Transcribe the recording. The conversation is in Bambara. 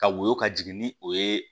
Ka woyo ka jigin ni o ye